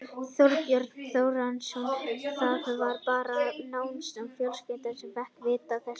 Þorbjörn Þórðarson: Það var bara nánasta fjölskylda sem fékk að vita af þessu?